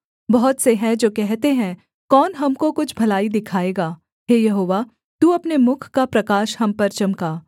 बहुत से हैं जो कहते हैं कौन हमको कुछ भलाई दिखाएगा हे यहोवा तू अपने मुख का प्रकाश हम पर चमका